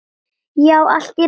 Já, allt í lagi.